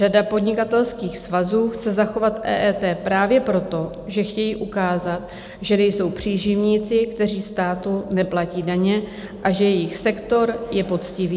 Řada podnikatelských svazů chce zachovat EET právě proto, že chtějí ukázat, že nejsou příživníci, kteří státu neplatí daně, a že jejich sektor je poctivý.